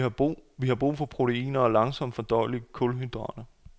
Vi har brug for proteiner og langsomt fordøjelige kulhydrater.